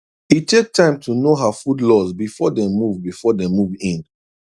e take time know her food laws before dem move before dem move in